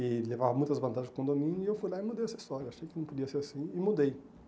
E levava muitas vantagens para o condomínio e eu fui lá e mudei essa história, achei que não podia ser assim e mudei.